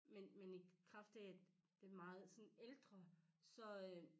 Men men i kraft af at det er meget sådan ældre så øh